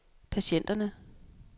patienterne